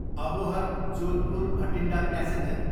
Abohar, Jodhpur Bathinda passenger